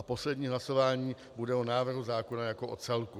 A poslední hlasování bude o návrhu zákona jako o celku.